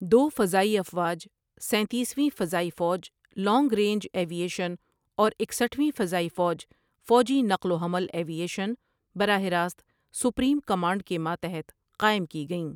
دو فضائی افواج، سینتیس ویں فضائی فوج لانگ رینج ایوی ایشن اور اکسٹھ ویں فضائی فوج فوجی نقل و حمل ایوی ایشن ، براہ راست سپریم کمانڈ کے ماتحت قائم کیں گئیں ۔